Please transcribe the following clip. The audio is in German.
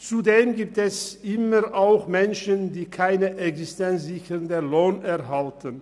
Zudem gibt es immer auch Menschen, die keinen existenzsichernden Lohn erhalten.